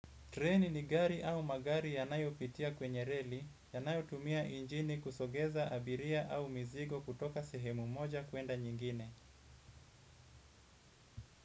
Treni ni gari au magari yanayo pitia kwenye reli, yanayo tumia injini kusogeza abiria au mizigo kutoka sehemu moja kuenda nyingine.